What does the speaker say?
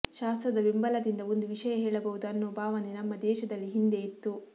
ಶಾಸ್ತ್ರದ ಬೆಂಬಲದಿಂದ ಒಂದು ವಿಷಯ ಹೇಳಬಹುದು ಅನ್ನೋಭಾವನೆ ನಮ್ಮ ದೇಶದಲ್ಲಿ ಹಿಂದೆ ಇತ್ತು